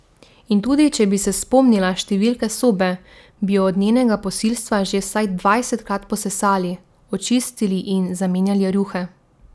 In tudi če bi se spomnila številke sobe, bi jo od njenega posilstva že vsaj dvajsetkrat posesali, očistili in zamenjali rjuhe.